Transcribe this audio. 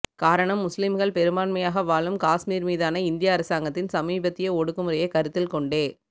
காரணம் முஸ்லிம்கள் பெரும்பான்மையாக வாழும் காஷ்மீர் மீதான இந்திய அரசாங்கத்தின் சமீபத்திய ஒடுக்குமுறையை கருத்தில் கொண்டே